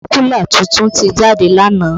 Sákúlà tuntun ti jáde lánàá